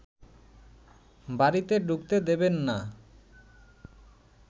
বাড়িতে ঢুকতে দেবেন না